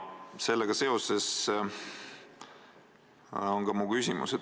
Sellega seoses on ka mu küsimus.